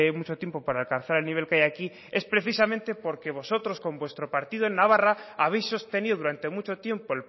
mucho tiempo para alcanzar el nivel que hay aquí es precisamente porque vosotros con vuestro partido en navarra habéis sostenido durante mucho tiempo